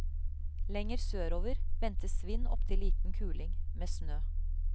Lenger sørover ventes vind opptil liten kuling, med snø.